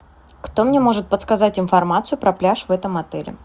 кто мне может подсказать информацию про пляж в этом отеле